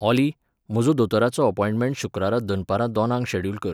ऑली, म्हजो दोतोराचो अपॉयण्टमेंट शुक्रारा दनपारां दोनांक शॅड्युल कर